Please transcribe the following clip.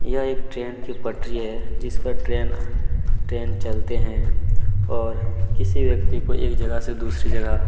यह एक ट्रेन की पटरी है जिस पर ट्रेन चलते है और किसी व्यक्ति को एक जगह से दूसरी जगह--